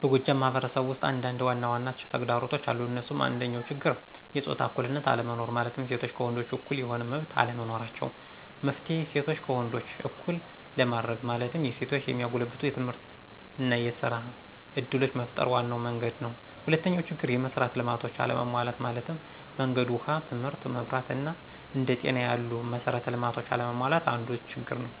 በጎጃም ማህበረሰብ ውስጥ አንዳንድ ዋናዋና ተግዳሮቶች አሉ እንሱም፦ አንደኛው ችግር የጾታ እኩልነት አለመኖር ማለትም ሴቶች ከወንዶች እኩል የሆነ መመብት አለመኖራቸው። መፍትሔ :እሴቶችን ከወንዶች እኩል ለማድርግ ማለትም የሴቶችን የሚያጎለብቱ የትምህርትና የስራ እድሎችን መፍጠር ዋናው መንግድ ነው። ሁለተኛው ችግር፦ የመሥራት ልማቶች አለመሟላት ማለትም መንገድ፣ ውሃ ትምህርት፣ መብራት አና አንደ ጤና ያሉ መሠራት ልማቶች አለመሟላት አንዱ ችግር ነው።